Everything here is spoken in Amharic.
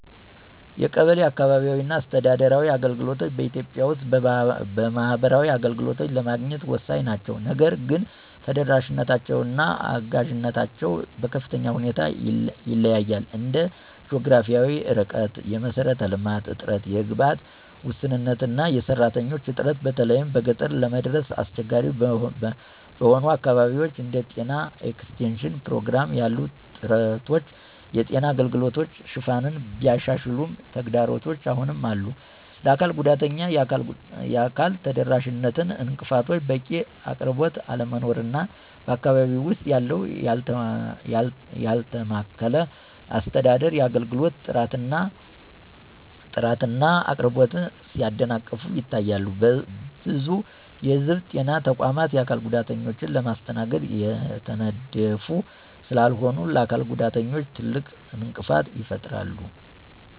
የቀበሌ (አካባቢያዊ አስተዳደር) አገልግሎቶች በኢትዮጵያ ውስጥ ማህበራዊ አገልግሎቶችን ለማግኘት ወሳኝ ናቸው። ነገር ግን ተደራሽነታቸው እና አጋዥነታቸው በከፍተኛ ሁኔታ ይለያያል እንደ ጂኦግራፊያዊ ርቀት፣ የመሰረተ ልማት እጥረት፣ የግብዓት ውስንነት እና የሰራተኞች እጥረት በተለይም በገጠር ለመድረስ አስቸጋሪ በሆኑ አካባቢዎች። እንደ ጤና ኤክስቴንሽን ፕሮግራም ያሉ ጥረቶች የጤና አገልግሎት ሽፋንን ቢያሻሽሉም ተግዳሮቶች አሁንም አሉ፣ ለአካል ጉዳተኞች የአካል ተደራሽነት እንቅፋቶች፣ በቂ አቅርቦት አለመኖር እና በአካባቢው ውስጥ ያለው ያልተማከለ አስተዳደር የአገልግሎት ጥራትን እና አቅርቦትን ሲያደናቅፉ ይታያሉ። ብዙ የህዝብ ጤና ተቋማት የአካል ጉዳተኞችን ለማስተናገድ የተነደፉ ስላልሆኑ ለአካል ጉዳተኞች ትልቅ እንቅፋት ይፈጥራሉ።